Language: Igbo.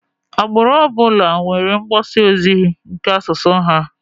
Agbụrụ ọbụla nwere mgbasa ozi nke asụsụ ha.